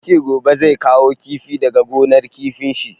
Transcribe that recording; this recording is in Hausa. Ya ce gobe zai kawo kifi daga gonar kifin shi.